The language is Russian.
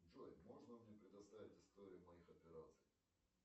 джой можно мне предоставить историю моих операций